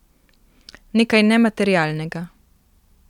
Nekaj nematerialnega.